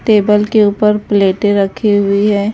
Table के ऊपर प्लेटें रखी हुई हैं।